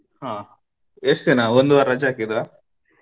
ಹ ಎಷ್ಟ ದಿನ ಒಂದು ವಾರ ರಜೆ ಹಾಕಿದ್ರಾ.